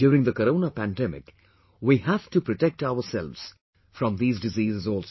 During the corona pandemic, we have to protect ourselves from these diseases also